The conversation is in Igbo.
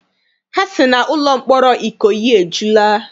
Ha sị na ụlọ mkpọrọ Ikoyi ejula.